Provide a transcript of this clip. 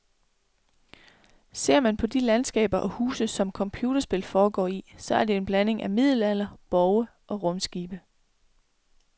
Ser man på de landskaber og huse, som computerspil foregår i, så er det en blanding af middelalder, borge og rumskibe.